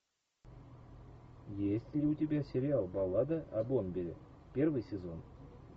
есть ли у тебя сериал баллада о бомбере первый сезон